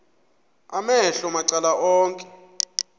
amehlo macala onke